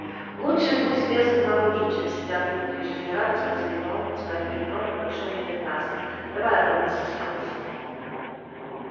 лучше пусть лезут наружу чем сидят внутри жизнерадостно заявил он поставив перед роном большой медный таз давай рон не стесняйся